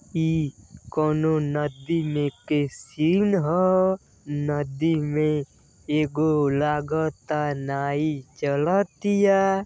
ई कौनों नदी में के सीन ह। नदी में एगो लागता नाई चलतिया।